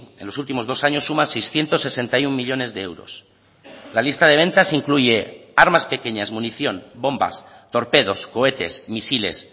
en los últimos dos años suman seiscientos sesenta y uno millónes de euros la lista de ventas incluye armas pequeñas munición bombas torpedos cohetes misiles